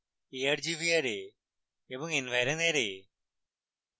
argv array এবং environ array